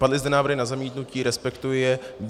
Padly zde návrhy na zamítnutí, respektuji je.